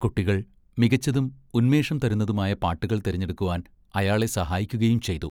കുട്ടികൾ മികച്ചതും ഉന്മേഷം തരുന്നതുമായ പാട്ടുകൾ തിരഞ്ഞെടുക്കുവാൻ അയാളെ സഹായിക്കുകയും ചെയ്തു.